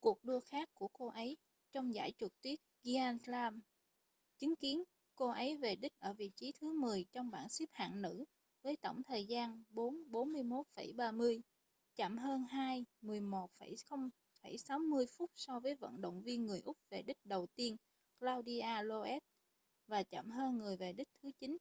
cuộc đua khác của cô ấy trong giải trượt tuyết giant slalom chứng kiến cô ấy về đích ở vị trí thứ 10 trong bảng xếp hạng nữ với tổng thời gian 4:41,30 chậm hơn 2:11,60 phút so với vận động viên người úc về đích đầu tiên claudia loesch và chậm hơn người về đích thứ 9